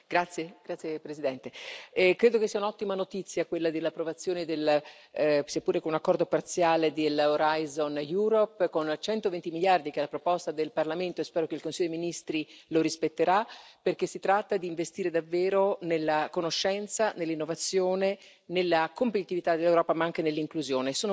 Signor Presidente, onorevoli colleghi, credo che sia un'ottima notizia quella dell'approvazione, seppure con accordo parziale, di Horizon Europe con 120 miliardi che è la proposta del Parlamento e spero che il Consiglio ministri lo rispetterà, perché si tratta di investire davvero nella conoscenza, nell'innovazione, nella competitività dell'Europa, ma anche nell'inclusione.